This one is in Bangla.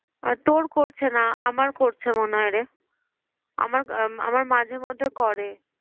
তোর করছে না, আমার করছে মনে হয় রে। আমার আমার মাঝে মধ্যে করে।